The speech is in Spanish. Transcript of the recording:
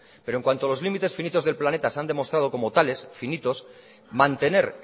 pero en cuanto los límites finitos se han demostrado como tales finitos mantener